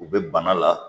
U bɛ bana la